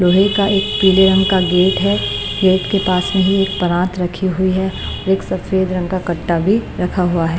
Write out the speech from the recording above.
लोहे का एक पीले रंग का गेट है गेट के पास में ही एक परात रखी हुई है एक सफेद रंग का कट्टा भी रखा हुआ है।